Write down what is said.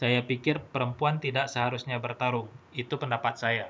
saya pikir perempuan tidak seharusnya bertarung itu pendapat saya